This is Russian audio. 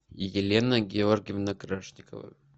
елена георгиевна крашникова